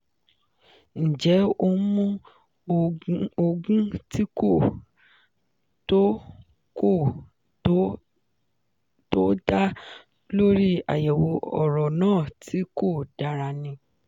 ǹjẹ́ ó ń mu òògùn tí kò tọ́ kò tọ́ tó dá lórí àyẹ̀wò ọ̀rọ̀ náà tí kò dára ni?